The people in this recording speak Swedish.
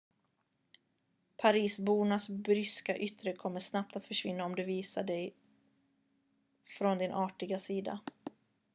parisbornas bryska yttre kommer snabbt att försvinna om du visar dig från din artiga sida